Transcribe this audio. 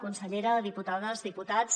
consellera diputades diputats